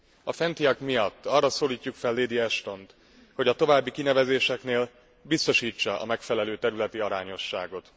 A fentiek miatt arra szólítjuk fel lady Ashtont, hogy a további kinevezéseknél biztosítsa a megfelelő területi arányosságot.